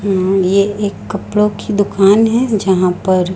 ये एक कपड़ों की दुकान है जहां पर--